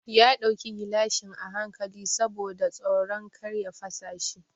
Ya ɗauki gilashin a hankali saboda tsoron kar ya fasa shi.